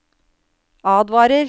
advarer